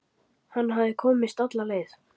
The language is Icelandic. Hann hafði komist alla leið!